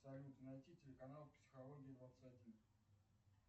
салют найти телеканал психология двадцать один